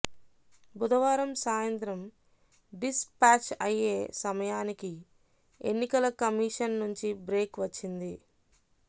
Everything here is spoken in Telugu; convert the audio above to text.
బుధవారం సాయంత్రం డిస్ పాచ్ అయ్యే సమయానికి ఎన్నికల కమీషన్ నుంచి బ్రేక్ వచ్చింది